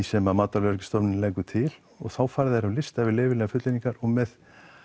sem matvælastofnunin leggur til og þá fara þær á lista yfir leyfilegar fullyrðingar og með